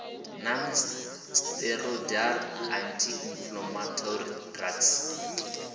non steroidal anti inflammatory drugs